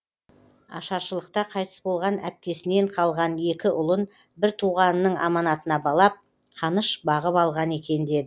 ашаршылықта қайтыс болған әпкесінен қалған екі ұлын бір туғанының аманатына балап қаныш бағып алған екен деді